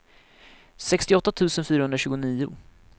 sextioåtta tusen fyrahundratjugonio